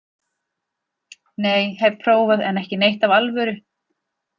Nei, hef prófað en ekki neitt af alvöru.